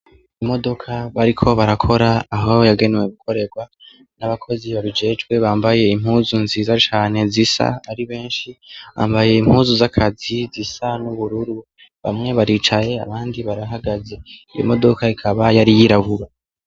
Imodoka bariko barakora aho yagenewe gukorerwa nabakozi babijejwe Bambaye impuzu nziza cane zisa, Bambaye impuzu zakazi bamwe baricaye abandi barahagaze imodoka ikaba yari yirabura.